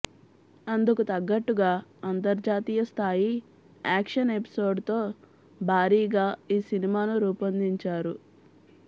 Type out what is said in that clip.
అందుకు తగ్గట్టుగా అంతర్జాతీయ స్థాయి యాక్షన్ ఎపిసోడ్స్తో భారీగా ఈ సినిమాను రూపొందించారు